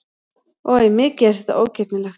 Oj, mikið er þetta ógirnilegt!